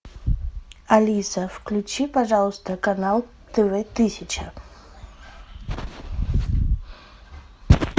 алиса включи пожалуйста канал тв тысяча